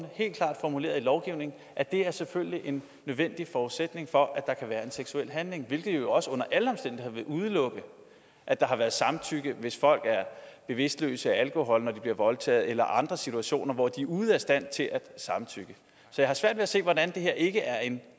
helt klart formuleret i lovgivningen at det selvfølgelig er en nødvendig forudsætning for at der kan være en seksuel handling hvilket jo også under alle omstændigheder vil udelukke at der har været samtykke hvis folk er bevidstløse af alkohol når de bliver voldtaget eller andre situationer hvor de er ude af stand til at samtykke så jeg har svært ved at se hvordan det her ikke er en